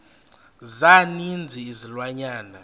za ninzi izilwanyana